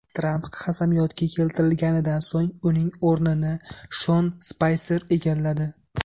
Tramp qasamyodga keltirilganidan so‘ng uning o‘rnini Shon Spayser egalladi.